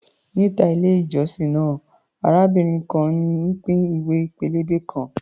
Níta ilé-ìjọsìn náà, arábìnrin kan ń pín ìwé pélébé kan.